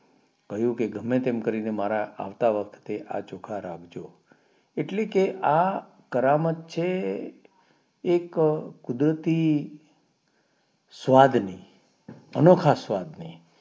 કહ્યું કે ગમે તેમ કરીને મારા આવતા વખતે આ ચોખા રાખજો એટલે કે આ કરામત છે એક કુદરતી સ્વાદ ની અનોખા સ્વાદ ની